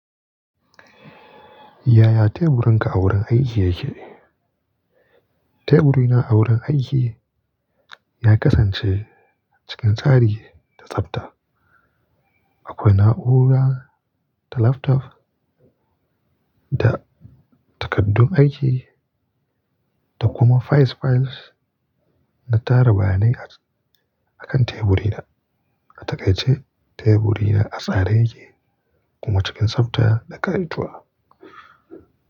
Ya ya teburinka a wurin aiki ya ke? Teburina a wurin aiki ya kasance cikin tsari da tsafta. Akwai na'ura, da laptop, da takaddun aiki da kuma files files na tara bayanai akan teburi na. A takaice teburi na a tsare yake kuma cikin tsafta da kai tu'a.